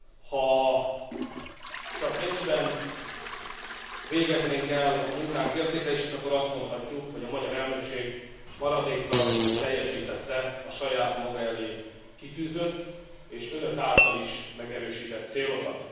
Ha csak ennyiben végeznénk el a munkánk értékelését, akkor azt mondhatjuk, hogy a magyar elnökség maradéktalanul teljesítette a saját maga elé kitűzött és önök által is megerősített célokat.